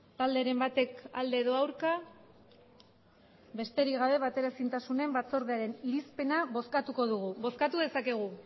talderen batek alde edo aurka besterik gabe bateraezintasunen batzordearen irizpena bozkatuko dugu bozkatu dezakegu